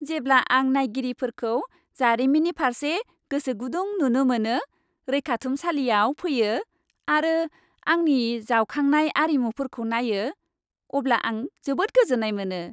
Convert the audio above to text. जेब्ला आं नायगिरिफोरखौ जारिमिननि फारसे गोसोगुदुं नुनो मोनो, रैखाथुमसालियाव फैयो आरो आंनि जावखांनाय आरिमुफोरखौ नायो, अब्ला आं जोबोद गोजोन्नाय मोनो।